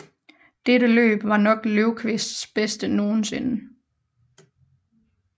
Dette løb var nok Lövkvists bedste nogensinde